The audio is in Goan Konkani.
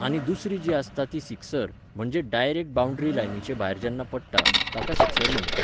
आनी दुसरी जी आसता ती सिक्सर, म्हणजे डायरेक्ट बावंड्री लायनीचे भायर जेन्ना पडटा, ताका सिक्सर म्हणटात